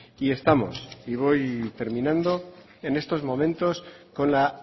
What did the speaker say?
y estamos y voy terminando en estos momentos con la